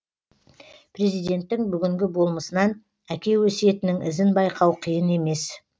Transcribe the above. президенттің бүгінгі болмысынан әке өсиетінің ізін байқау қиын емес